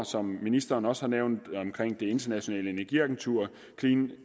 som ministeren også har nævnt omkring det internationale energiagentur clean